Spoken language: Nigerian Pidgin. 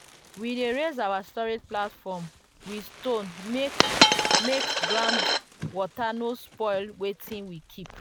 we dey raise our storage platform with stone make make ground water no spoil wetin we keep.